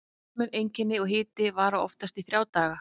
Almenn einkenni og hiti vara oftast í þrjá daga.